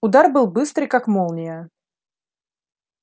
удар был быстрый как молния